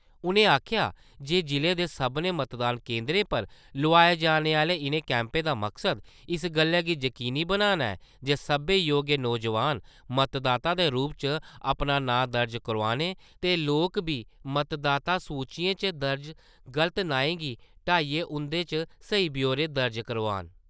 उ`नें आखेआ जे जिले दे सभनें मतदान केंद्रें पर लोआए जाने आह्‍‌‌‌‌‌‌ले इ`नें कैंपें दा मकसद इस गल्लै गी यकीनी बनाना ऐ जे सब्बै योग्य नौजोआन, मतदाता दे रूप च अपना नांऽ दर्ज करोआन ते लोक बी मतदाता सूचियें च दर्ज गलत नाएं गी हटाइयै उं`दे च स्हेई ब्यौरे दर्ज करोआन।